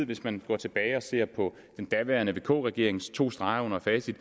hvis man går tilbage og ser på den daværende vk regerings to streger under facit